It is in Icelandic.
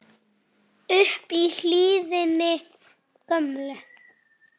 upp í hlíðina gömlu